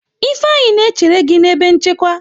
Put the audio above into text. Ifeanyi na-echere gi na ebe nchekwa.